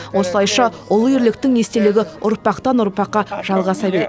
осылайша ұлы ерліктің естелігі ұрпақтан ұрпаққа жалғаса береді